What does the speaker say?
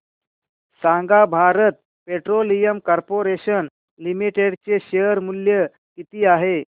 सांगा Bharat petroleum corporation limited चे share मूल्य किती आहे